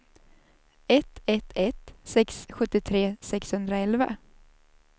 ett ett ett sex sjuttiotre sexhundraelva